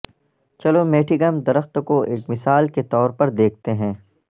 چلو میٹھیگم درخت کو ایک مثال کے طور پر دیکھتے ہیں